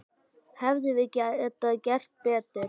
Hefðum við getað gert betur?